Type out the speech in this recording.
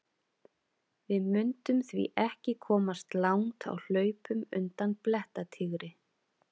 Við mundum því ekki komast langt á hlaupum undan blettatígri!